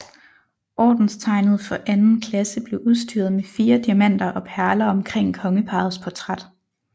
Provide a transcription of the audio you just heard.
Ordenstegnet for anden klasse blev udstyret med fire diamanter og perler omkring kongeparrets portræt